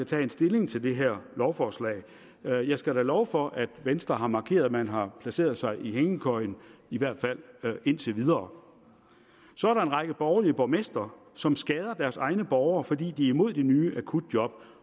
tage stilling til det her lovforslag jeg jeg skal da love for at venstre har markeret at man har placeret sig i hængekøjen i hvert fald indtil videre så er der en række borgerlige borgmestre som skader deres egne borgere fordi de er imod de nye akutjob